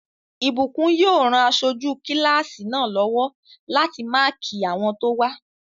Ìbùkún yóò ran aṣojú kílásì náà lọ́wọ́ láti máàkí àwọn tó wá